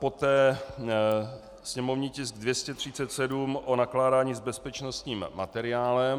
Poté sněmovní tisk 237, o nakládání s bezpečnostním materiálem.